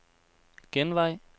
genvej